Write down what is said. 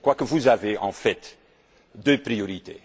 Je crois que vous avez, en fait, deux priorités.